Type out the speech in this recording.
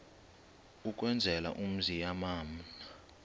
ukwenzela umzi yamana